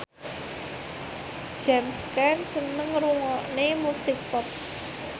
James Caan seneng ngrungokne musik pop